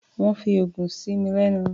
Wọ́n fi oògùn sí mi lẹ́nu.